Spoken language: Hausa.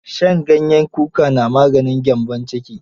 Shan ganyen kuka na maganin gyambon ciki.